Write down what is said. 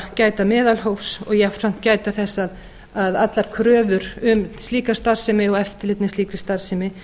gæta meðalhófs og jafnframt gæta þess að allar kröfur um slíka starfsemi og eftirlit með slíkri starfsemi